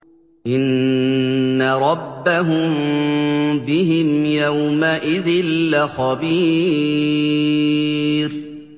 إِنَّ رَبَّهُم بِهِمْ يَوْمَئِذٍ لَّخَبِيرٌ